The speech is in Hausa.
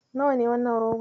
Nawa ne wannan rogon?